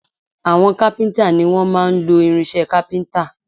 Àwọn kápíntà ni wọ́n máa ń lo irinsẹ́ kápíntà